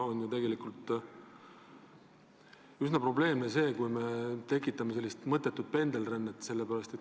Tegelikult on üsna probleemne, kui me tekitame mõttetut pendelrännet.